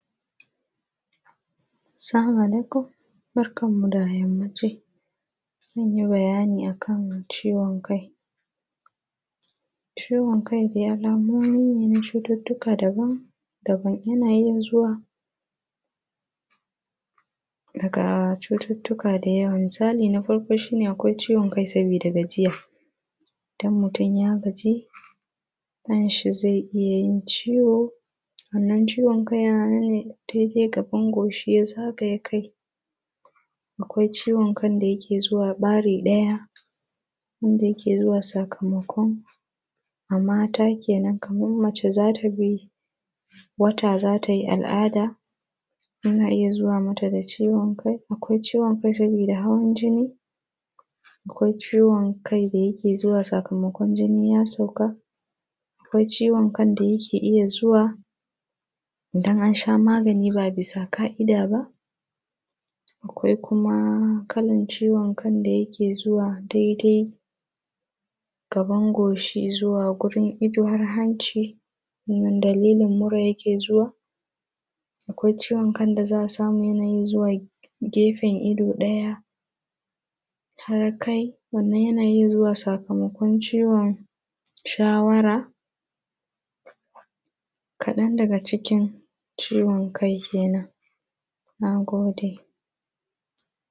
Salama aleekum. Barkanmu da yammaci. Zan yi bayani a kan ciiwon kai. Ciiwon kai de alamomi ne na cututtuka daban daban. Yanayiin zuwa daga cututtuka da yawa, misaali na farko shi ne akwai ciiwon kai sabida gajiya, idan mutum yaa gaji, kanshi zai iya yin ciwo, wannan ciwon kai yana nan ne dede gaban goshi ya zagaye kai. Akwai ciiwon kan da yake zuwa ɓari ɗaya, wanda yake zuwa sakamakon, a mata kenan kaman mace za ta bi, wata za ta yi al’aada, yana iya zuwa mata da ciiwon kai, akwai ciwon kai sabida hawan jini, akwai ciwon kai da yake iya zuwa sakamakon jininya sauka, akwai ciiwon kai da yake iya zuwa, dan an shaa maagani baa bisa ka’ida ba. Akwai kuma kalan ciiwon kan da yake zuwaa daidai gaban goshi gurin ido har hanci, wannan dalilin muraa yake zuwa. Akwai ciiwon kan da za'a samu yanayin zuwa gefen ido ɗaya wannan yana iya zuwa sakamakon ciwon shawara. Kaɗan daga cikin ciwon kai kenan. Nagode.